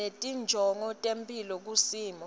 ngetinjongo tetemphilo kusimo